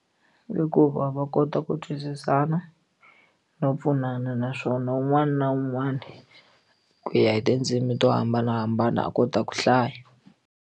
Hikuva va kota ku twisisana no pfunana naswona un'wana na un'wana ku ya hi tindzimi to hambanahambana a kota ku hlaya.